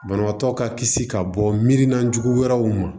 Banabaatɔ ka kisi ka bɔ mirinajugu wɛrɛw ma